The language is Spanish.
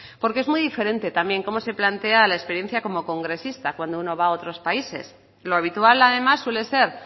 porque es muy diferente también cómo se plantea la experiencia como congresista cuando uno va a otros países lo habitual además suele ser